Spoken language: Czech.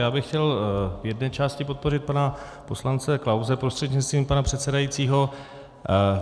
Já bych chtěl v jedné části podpořit pana poslance Klause prostřednictvím pana předsedajícího.